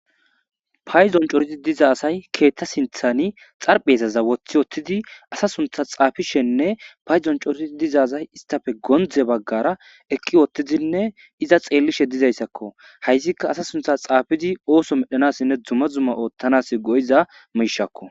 Payzon coriti diza asay keethta sinthani xarpheezaza woththi wottidi asa suntha xaafishenne payzon coriti dizazay istafe gondze baggara eqqi wottidinne iza xeellishe dizayssakko hayssikka asa suntha xaafidi ooso medhanassinne duma zumma oottanas go'iza miishakko